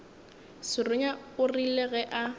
serunya o rile ge a